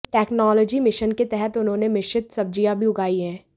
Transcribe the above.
technology mission के तहत उन्होंने मिश्रित सब्जियाँ भी उगाई हैं